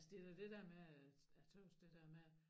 Altså det da det der med at jeg tøs det der med